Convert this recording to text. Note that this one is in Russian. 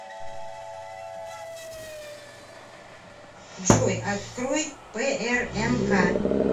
джой открой прнк